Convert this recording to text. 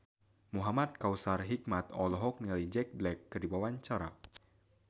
Muhamad Kautsar Hikmat olohok ningali Jack Black keur diwawancara